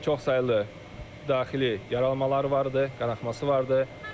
Çox saylı daxili yaralanmalar var idi, qanaxması var idi.